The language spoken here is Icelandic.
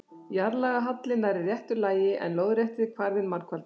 Jarðlagahalli nærri réttu lagi, en lóðrétti kvarðinn margfaldaður.